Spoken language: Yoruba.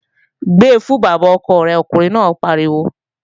Gbe fún bàbá ọkọ rẹ̀, ọkùnrin náà pariwo!